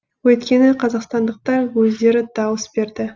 өйткені қазақстандықтар өздері дауыс берді